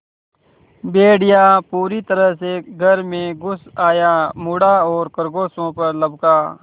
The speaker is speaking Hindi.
भेड़िया पूरी तरह से घर में घुस आया मुड़ा और खरगोशों पर लपका